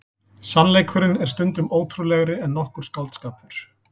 Sannleikurinn er stundum ótrúlegri en nokkur skáldskapur.